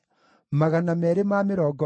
na andũ a Nebo maarĩ 52,